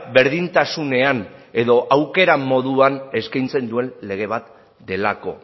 berdintasunean edo aukera moduan eskaintzen duen lege bat delako